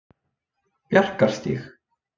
Bjarkarstíg